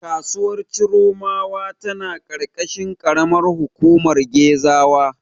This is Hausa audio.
Kasuwar Chiromawa tana ƙarƙashin ƙaramar hukumar Gezawa.